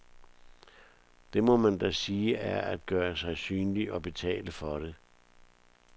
Det må man da sige er at gøre sig synlig og betale for det.